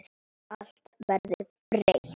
Allt verður breytt.